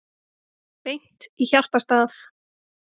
Beint í hjartastað